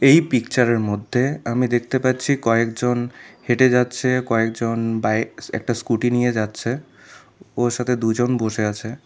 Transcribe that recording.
এই পিকচার -এর মধ্যে আমি দেখতে পাচ্ছি কয়েকজন হেঁটে যাচ্ছে কয়েকজন বাইক একটা স্কুটি নিয়ে যাচ্ছে ওর সাথে দুজন বসে আছে।